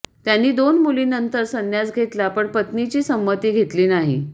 त्यांनी दोन मुलींनंतर संन्यास घेतला पण पत्नीची संमती घेतली नाही